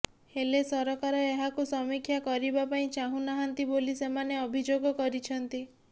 ହେଲେ ସରକାର ଏହାକୁ ସମୀକ୍ଷା କରିବା ପାଇଁ ଚାହୁ ନାହାନ୍ତି ବୋଲି ସେମାନେ ଅଭିଯୋଗ କରିଛନ୍ତି